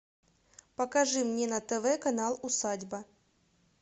покажи мне на тв канал усадьба